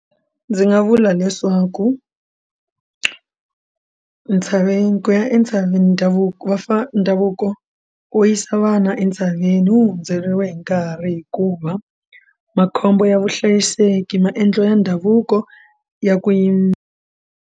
Ndzi nga vula leswaku ntshaveni ku ya entshaveni ndhavuko vafana ndhavuko wo yisa vana entshaveni wu hundzeriwe hi nkarhi hikuva makhombo ya vuhlayiseki maendlelo ya ndhavuko ya ku yi.